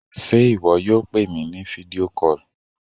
Sé ìwọ yóò pè mi ní fídíò call?